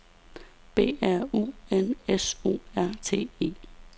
B R U N S O R T E